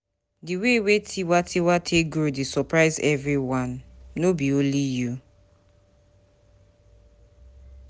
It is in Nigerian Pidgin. The way Tiwa Tiwa take grow dey surprise everyone, no be only you.